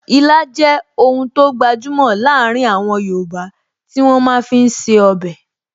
Ilá jẹ́ oun tó gbajúmọ̀ láàrin àwọn yoòbá tí wọ́n máa fi ń ṣe ọbẹ̀